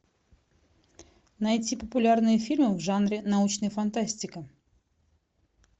найти популярные фильмы в жанре научная фантастика